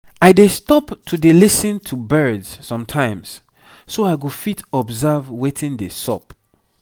i dey stop to dey lis ten to birds sometimes so i go fit observe wetin dey sup